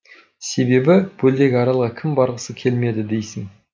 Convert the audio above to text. себебі көлдегі аралға кім барғысы келмеді дейсің